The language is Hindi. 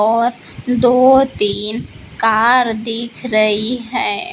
और दो तीन कार दिख रही है।